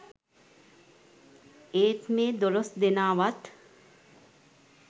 ඒත් මේ දොලොස් දෙනාවත්